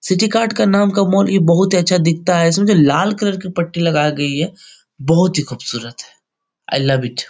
City card का नाम का मॉल ये बोहोत ही अच्छा दिखता है। इसमें जो लाल कलर की पट्टी लगायी गयी है बोहोत ही खुबसूरत आई लव इट ।